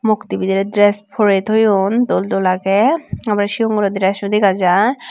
mukti bidirey dress porey toyon dol dol agey aro sigon guro dresso dega jar.